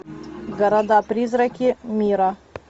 города призраки мира